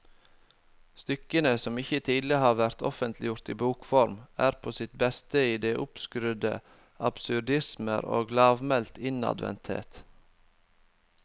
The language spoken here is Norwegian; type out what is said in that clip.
Stykkene, som ikke tidligere har vært offentliggjort i bokform, er på sitt beste i de oppskrudde absurdismer og i lavmælt innadvendthet.